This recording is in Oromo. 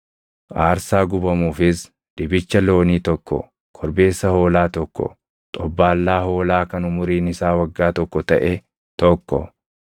aarsaa gubamuufis dibicha loonii tokko, korbeessa hoolaa tokko, xobbaallaa hoolaa kan umuriin isaa waggaa tokko taʼe tokko,